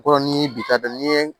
Kɔrɔ ni ye bi ta dɔn n'i ye